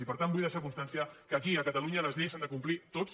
i per tant vull deixar constància que aquí a catalunya les lleis s’han de complir totes